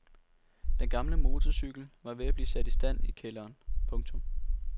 Den gamle motorcykel var ved at blive sat i stand i kælderen. punktum